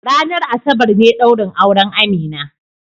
Ranar Asabar ne daurin auren Amina.